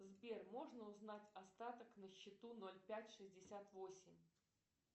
сбер можно узнать остаток на счету ноль пять шестьдесят восемь